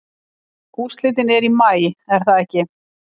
Úrslitin eru í maí er það ekki?